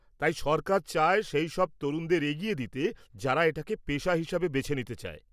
তাই সরকার চায় সেইসব তরুণদের এগিয়ে দিতে যারা এটাকে পেশা হিসেবে বেছে নিতে চায়।